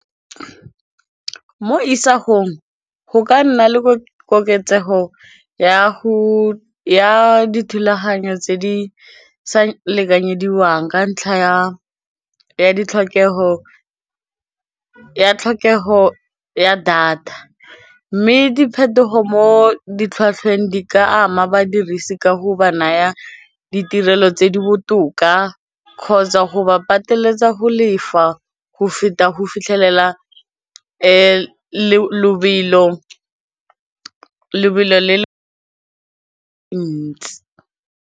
Mo isagong go ka nna le koketsego ya dithulaganyo tse di sa lekanyediwang ka ntlha ya tlhokego ya data mme diphetogo mo di tlhwatlhweng di ka ama badirisi ka go ba naya ditirelo tse di botoka kgotsa go ba pateletsa go lefa go feta go fitlhelela lebelo le le ntsi.